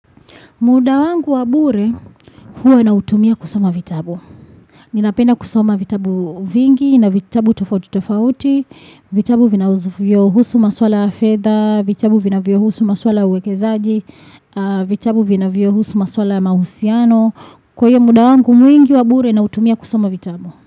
Muda wangu wabure huwa na utumia kusoma vitabu. Ninapenda kusoma vitabu vingi na vitabu tofauti tofauti, vitabu vinavyo husu maswala ya fedha, vitabu vina vio husu maswala ya uwekezaji, vitabu vinavyohusu masuala ya mahusiano. Kwa hiyo muda wangu mwingi wabure na utumia kusoma vitabu.